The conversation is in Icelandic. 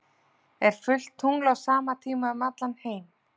Er fullt tungl á sama tíma um allan heim?